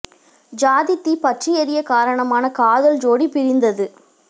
சாதித் தீ பற்றி எரிய காரணமான காதல் ஜோடி பிரிந்தது